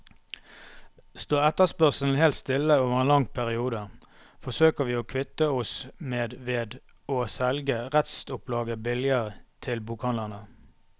Står etterspørselen helt stille over en lang periode, forsøker vi å kvitte oss med ved å selge restopplaget billig til bokhandlene.